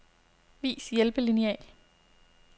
Vis hjælpelineal.